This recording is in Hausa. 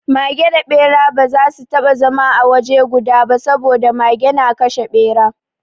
Mage da Ɓera ba za su taɓa zama a waje guda ba saboda Mage na kashe Ɓera.